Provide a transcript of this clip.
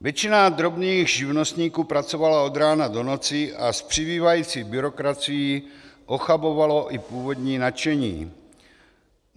Většina drobných živnostníků pracovala od rána do noci a s přibývající byrokracií ochabovalo i původní nadšení.